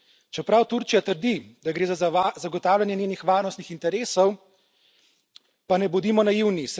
Čeprav Turčija trdi, da gre za zagotavljanje njenih varnostnih interesov, pa ne bodimo naivni.